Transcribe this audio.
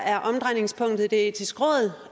er omdrejningspunktet i det etiske råd